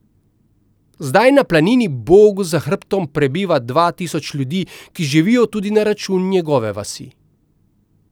Zdaj na planini bogu za hrbtom prebiva dva tisoč ljudi, ki živijo tudi na račun njegove vasi.